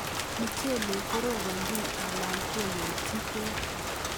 Muchelek korobonjin ala keyotyi beek.